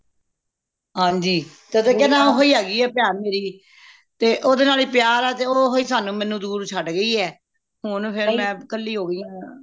ਹਨਜੀ ਤਦੇ ਕਿਆ ਨਾ ਓਹੀ ਹੈਗੀ ਏ ਭੈਣ ਮੇਰੀ ਤੇ ਓਹਦੇਵ ਨਾਲ ਹੀ ਪਿਆਰ ਏ ਤੇ ਓਹੀ ਸਾਨੂ ਮੇਨੂ ਦੂਰ ਛੱਡ ਗਯੀ ਏ ਹੁਣ ਫੇਰ ਮੈਂ ਕੱਲੀ ਹੋ ਗਇਆ